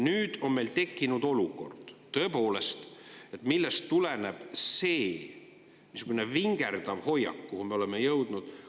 Nüüd on meil tekkinud olukord, millest tuleneb see niisugune vingerdav hoiak, milleni me oleme jõudnud.